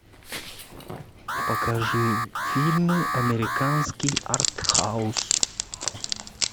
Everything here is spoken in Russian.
покажи фильмы американский артхаус